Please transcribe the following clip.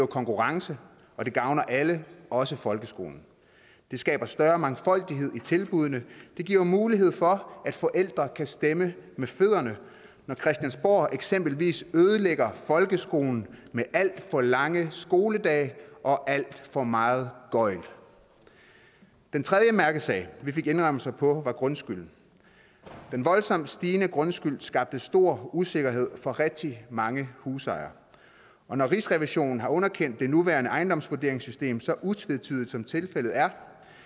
konkurrence og det gavner alle også folkeskolen det skaber større mangfoldighed i tilbuddene det giver jo mulighed for at forældre kan stemme med fødderne når christiansborg eksempelvis ødelægger folkeskolen med alt for lange skoledage og alt for meget gøgl den tredje mærkesag vi fik indrømmelser på var grundskylden den voldsomt stigende grundskyld skabte stor usikkerhed for rigtig mange husejere og når rigsrevisionen har underkendt det nuværende ejendomsvurderingssystem så utvetydigt som tilfældet er